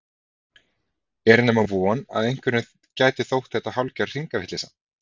Er nema von að einhverjum gæti þótt þetta hálfgerð hringavitleysa?